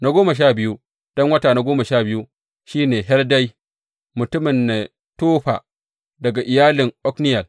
Na goma sha biyu don wata goma sha biyu, shi ne Heldai mutumin Netofa, daga iyalin Otniyel.